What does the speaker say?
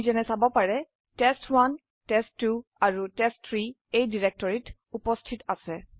আপনি যেনে চাব পাৰে টেষ্ট1 টেষ্ট2 আৰু টেষ্ট3 এই ডিৰেক্টৰিত উপস্থিত আছে